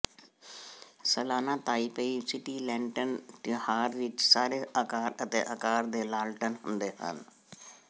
ਸਾਲਾਨਾ Taipei city lantern ਤਿਉਹਾਰ ਵਿੱਚ ਸਾਰੇ ਆਕਾਰ ਅਤੇ ਅਕਾਰ ਦੇ ਲਾਲਟਨ ਹੁੰਦੇ ਹਨ